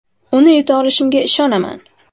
Uni yuta olishimga ishonaman.